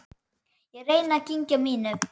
Ég reyni að kyngja mínu.